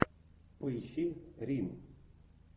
поищи рим